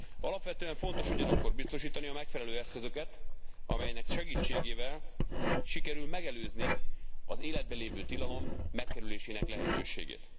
Alapvetően fontos ugyanakkor biztosítani a megfelelő eszközöket, amelynek segítségével sikerül megelőzni az életben lévő tilalom megkerülésének lehetőségét.